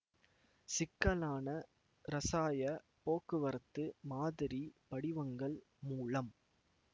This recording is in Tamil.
சிக்கலான இரசாய போக்குவரத்து மாதிரி படிவங்கள் மூலம்